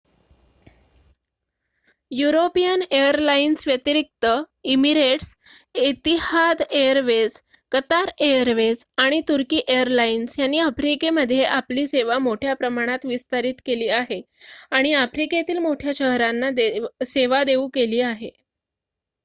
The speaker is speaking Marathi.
युरोपियन एअरलाइन्स व्यतिरिक्त Emirates Etihad airways Qatar airways आणि तुर्की एअरलाइन्स यांनी आफ्रिकेमध्ये आपली सेवा मोठ्या प्रमाणावर विस्तारित केली आहे आणि आफ्रिकेतील मोठ्या शहरांना सेवा देऊ केली आहे